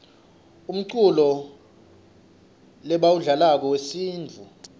umculo lebawudlalako wesintfu